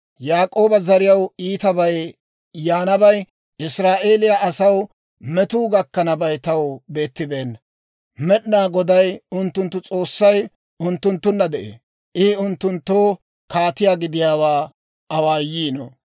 Yaak'ooba zariyaw iitabay yaanabay, Israa'eeliyaa asaw metuu gakkanabay taw beettibeenna. Med'inaa Goday unttunttu S'oossay unttunttunna de'ee; I unttunttoo kaatiyaa gidiyaawaa awaayiino.